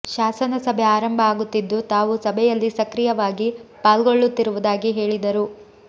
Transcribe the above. ಶಾಸನ ಸಭೆ ಆರಂಭ ಆಗುತ್ತಿದ್ದು ತಾವು ಸಭೆಯಲ್ಲಿ ಸಕ್ರಿಯವಾಗಿ ಪಾಲ್ಗೊಳ್ಳುತ್ತಿರುವುದಾಗಿ ಹೇಳಿದರು